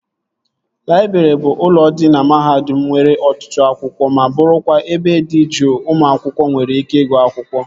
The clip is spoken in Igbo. Laịbrị bụ ụlọ dị na mahadum nwere ọtụtụ akwụkwọ ma bụrụkwa ebe dị juu ụmụ akwụkwọ nwere ike ịgụ akwụkwọ